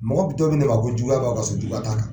Mɔgɔ be dɔ minɛ ba ko juguya b'a ka soju la. Juguya t'a kan.